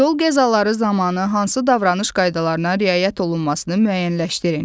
Yol qəzaları zamanı hansı davranış qaydalarına riayət olunmasını müəyyənləşdirin.